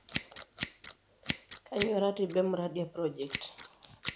Kanyioo ratiba e mradi e project?